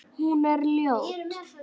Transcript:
Hún er ljót.